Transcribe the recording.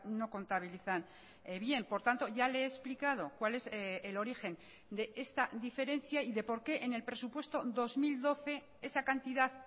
no contabilizan bien por tanto ya le he explicado cuál es el origen de esta diferencia y de por qué en el presupuesto dos mil doce esa cantidad